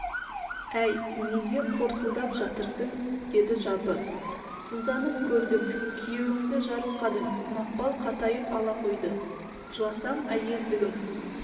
әй неге қорсылдап жатырсың деді жабы сызданып көрдік күйеуіңді жарылқадың мақпал қатайып ала қойды жыласам әйелдігім